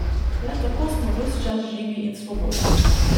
Le tako smo ves čas živi in svobodni.